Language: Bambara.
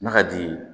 N'a ka di ye